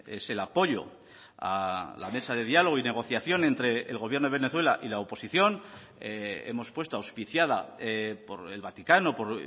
es el apoyo a la mesa de diálogo y negociación entre el gobierno de venezuela y la oposición hemos puesto auspiciada por el vaticano por